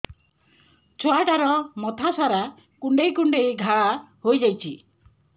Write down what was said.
ଛୁଆଟାର ମଥା ସାରା କୁଂଡେଇ କୁଂଡେଇ ଘାଆ ହୋଇ ଯାଇଛି